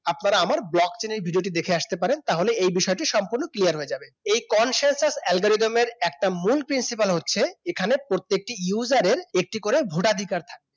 আপনারা আমার blog চেনে এই video টি দেখে আসতে পারেন তাহলে তাহলে এই বিষয়টি সম্পূর্ণ clear হয়ে যাবে এই consensus algorithm এর একটি মূল principle হচ্ছে এখানে প্রত্যেকটি user র টি করে ভোটাধিকার থাকে